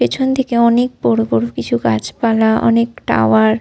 পেছন দিকে অনেক বড়বড় কিছু গাছপালা অনেক টাওয়ার ।